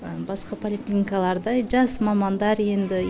басқа поликлиникалардай жас мамандар енді